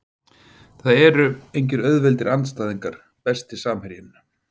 Það eru engir auðveldir andstæðingar Besti samherjinn?